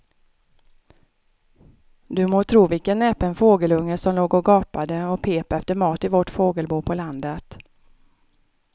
Du må tro vilken näpen fågelunge som låg och gapade och pep efter mat i vårt fågelbo på landet.